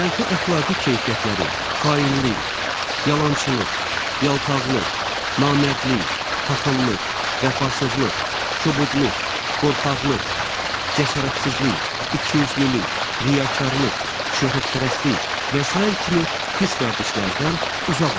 Mənfi əxlaqi keyfiyyətləri, xainlik, yalançılıq, yaltaqlıq, namərdlik, paxıllıq, vəfasızlıq, kobudluq, qorxaqlıq, cəsarətsizlik, ikiyüzlülük, riyakarlıq, şöhrətpərəstlik və sair kimi pis vərdişlərdən uzaq olun.